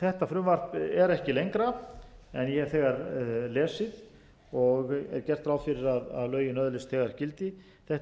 þetta frumvarp er ekki lengra en ég hef þegar lesið og er gert ráð fyrir að lögin öðlist þegar gildi þetta er